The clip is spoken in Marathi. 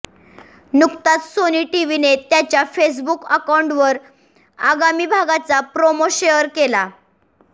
नुकताच सोनी टीव्हीने त्यांच्या फेसबुक अकाउंटवर आगामी भागाचा प्रोमो शेअर केला